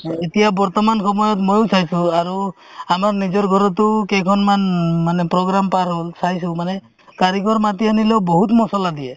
এতিয়া বৰ্তমান সময়ত ময়ো চাইছো আৰু আমাৰ নিজৰ ঘৰতো কেইখন মানে program পাৰ হ'ল চাইছো মানে কাৰিকৰ মাতি আনিলেও বহুত মছলা দিয়ে